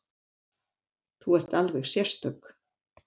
Þú ert alveg sérstök.